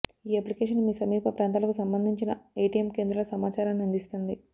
ఈ అప్లికేషన్ మీ సమీప ప్రాంతాలకు సంబంధించిన ఏటీఎమ్ కేంద్రాల సమాచారాన్ని అందిస్తుంది